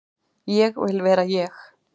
Ég vil vera ég.